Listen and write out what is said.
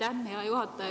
Aitäh, hea juhataja!